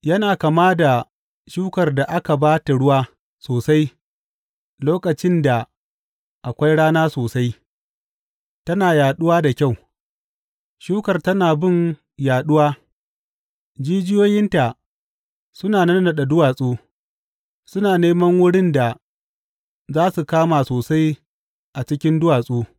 Yana kama da shukar da aka ba ta ruwa sosai lokacin da akwai rana sosai, tana yaɗuwa da kyau; shukar tana bin yaɗuwa, jijiyoyinta suna nannaɗe duwatsu, suna neman wurin da za su kama sosai a cikin duwatsu.